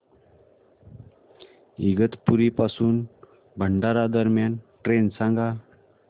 इगतपुरी पासून भंडारा दरम्यान ट्रेन सांगा